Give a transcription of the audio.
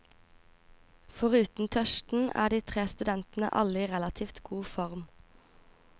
Foruten tørsten er de tre studentene alle i relativt god form.